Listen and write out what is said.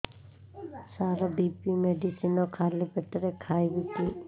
ସାର BP medicine ଖାଲି ପେଟରେ ଖାଇବି କି